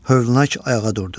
Hövlnak ayağa durdu.